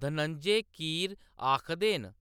धनंजय कीर आखदे न,